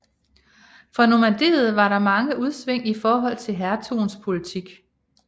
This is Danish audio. For Normandiet var der mange udsving i forhold til hertugens politik